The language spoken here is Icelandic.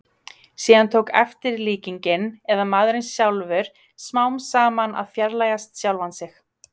Síðan tók eftir- líkingin, eða maðurinn sjálfur, smám saman að fjarlægjast sjálfan sig.